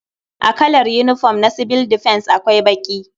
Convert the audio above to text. A kalar yinifom na sibil difens akwai baƙi.